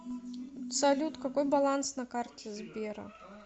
салют какой баланс на карте сбера